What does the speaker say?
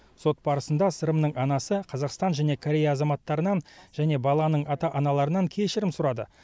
сот барысында сырымның анасы қазақстан және корея азаматтарынан және баланың ата аналарынан кешірім сұрады